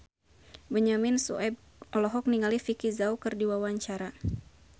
Benyamin Sueb olohok ningali Vicki Zao keur diwawancara